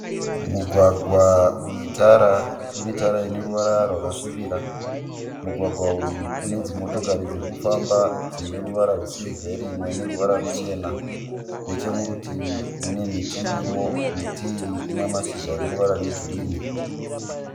Mugwagwa unetara. Unetara ineruvara rwakasvibira. Mugwagwa uyu une dzimotokari dziri kufamba dzine ruvara rwesirivheri imwe dzine ruvara ruchena. Necheparutivi mune miti irimo, miti iyi ine mashizha ane ruvara rwegirini